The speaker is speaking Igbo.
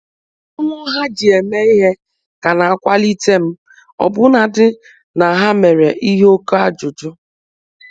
Mmụọ ha ji eme ihe ka na-akwalite m, ọbụnadị na ha mere ihe oke ajụjụ